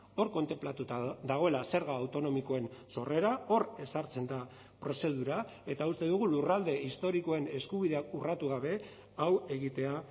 hor kontenplatuta dagoela zerga autonomikoen sorrera hor ezartzen da prozedura eta uste dugu lurralde historikoen eskubideak urratu gabe hau egitea